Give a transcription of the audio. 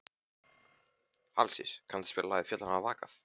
Alexíus, kanntu að spila lagið „Fjöllin hafa vakað“?